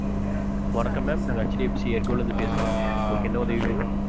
வணக்கம் ma'am நாங்க HDFCair go ல இருந்து பேசுறோம் unkalug